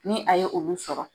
Ni a ye olu sɔrɔ